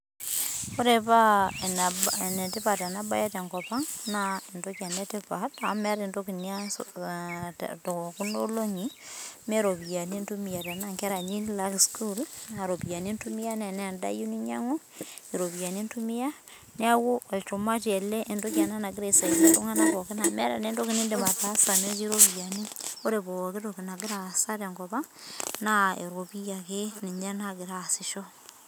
Ore paa enetipat ena mbae tenkop naa entoki ena etipat amu meeta entoki nias tekuna olongi mee ropiani entumia tenaa ninye enkera eyieu nilaki sukuul naa ropiani entumia naa tenaa endaa eyieu ninyiangu naa eropiani entumia neeku olchumati ele ogira aisaidia iltung'ana pookin amu metaa taat entoki nidim ataasa metii ropiani ore pooki toki nagira asaa tenkop ang naa eropiani ake nagira asisho